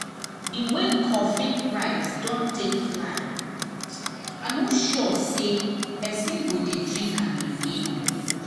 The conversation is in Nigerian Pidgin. the way coffee price don take fly i no sure say person go dey drink am again ooo